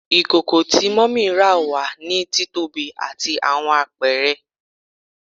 Ikoko ti mummy ra wa ni titobi ati awọn apẹrẹ